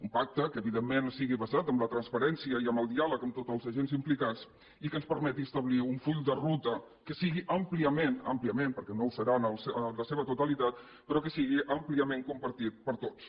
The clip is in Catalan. un pacte que evidentment sigui basat en la transparència i en el diàleg amb tots els agents implicats i que ens permeti establir un full de ruta que sigui àmpliament àmpliament perquè no ho serà en la seva totalitat però que sigui àmpliament compartit per tots